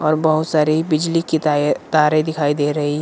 और बहुत सारी बिजली की तारे तारे दिखाई दे रहे हैं।